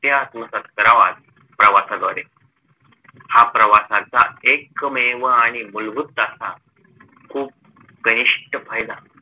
त्या आत्मसाथ कराव्यात प्रवासाद्वारे हा प्रवासाचा एकमेव आणि मूलभूत असा खूप घनिष्ट फायदा